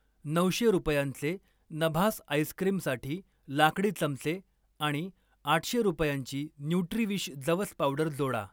नऊशे रुपयांचे नभास आईस्क्रिमसाठी लाकडी चमचे आणि आठशे रुपयांची न्युट्रीविश जवस पावडर जोडा.